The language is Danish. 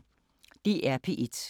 DR P1